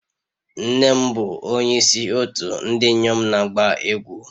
Nne m bụ onyeisi òtù ndị inyom na-agba egwú